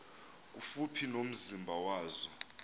kufuphi nomzi wazo